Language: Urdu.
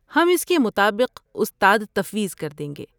ہم اس کے مطابق استاد تفویض کر دیں گے۔